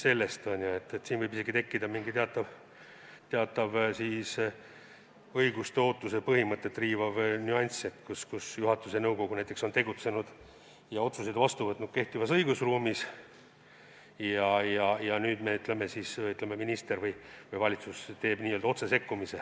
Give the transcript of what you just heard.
Siin võib isegi olla teatav õiguslike ootuste põhimõtet riivav nüanss, kui juhatus ja nõukogu näiteks on tegutsenud ja otsuseid vastu võtnud kehtivas õigusruumis, ja nüüd siis minister või valitsus teeb n-ö otsesekkumise